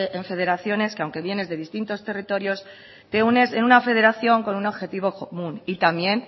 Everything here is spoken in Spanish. en federaciones que aunque bien es de distintos territorios te unes en una federación con un objetivo común y también